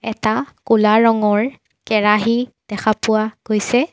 এটা ক'লা ৰঙৰ কেৰাহী দেখা পোৱা গৈছে।